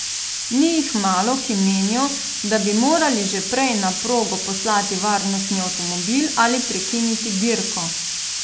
Ni jih malo, ki menijo, da bi morali že prej na progo poslati varnostni avtomobil ali prekiniti dirko.